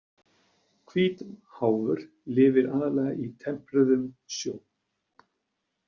Hvítháfur lifir aðallega í tempruðum sjó.